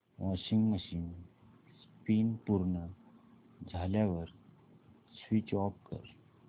washing machine spin पूर्ण झाल्यावर switch off कर